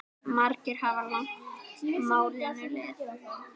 Margir hafa lagt málinu lið.